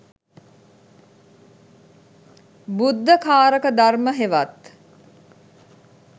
බුද්ධකාරක ධර්ම හෙවත්